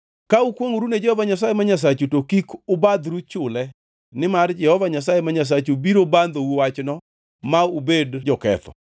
Ka ukwongʼoru ne Jehova Nyasaye ma Nyasachu, to kik ubadhru chule, nimar Jehova Nyasaye ma Nyasachu biro bandhou wachno ma ubed joketho.